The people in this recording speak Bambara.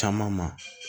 Caman ma